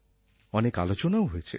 অনেক আলোচনাও হয়েছে